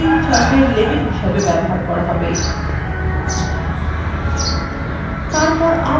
বা উভয়কেই chart অক্ষএর labels হিসাবে ব্যবহার করা হবে